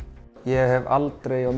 ég hef aldrei á